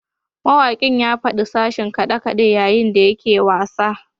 Mawakin ya fadi a sashin kade-kade yayin da yake wasa